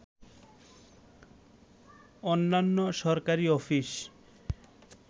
অন্যান্য সরকারি অফিস